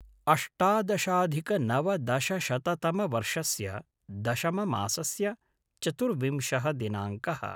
अष्टादशाधिकनवदशशततमवर्षस्य दशममासस्य चतुर्विंशः दिनाङ्कः